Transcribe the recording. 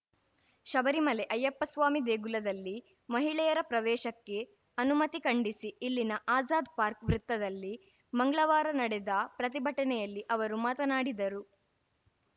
ಶಬರಿಮಲೆ ಅಯ್ಯಪ್ಪಸ್ವಾಮಿ ದೇಗುಲದಲ್ಲಿ ಮಹಿಳೆಯರ ಪ್ರವೇಶಕ್ಕೆ ಅನುಮತಿ ಖಂಡಿಸಿ ಇಲ್ಲಿನ ಆಜಾದ್‌ ಪಾರ್ಕ ವೃತ್ತದಲ್ಲಿ ಮಂಗ್ಳವಾರ ನಡೆದ ಪ್ರತಿಭಟನೆಯಲ್ಲಿ ಅವರು ಮಾತನಾಡಿದರು